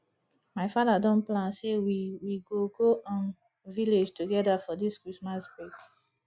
my father don plan say we we go go um village together for dis christmas break